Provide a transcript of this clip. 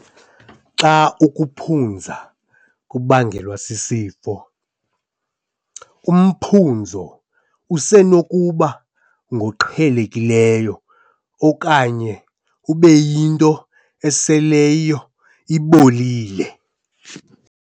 Xa ukuphunza kubangelwa sisifo, umphunzo usenokuba ngoqhelekileyo okanye ube yinto eseleyo ibolile.